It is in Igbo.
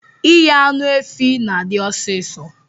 Ighe anụ efi na adi ọsis